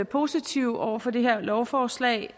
positive over for det her lovforslag